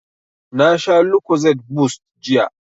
Na sha lucozade boost jiya